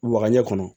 Wagaɲɛ kɔnɔ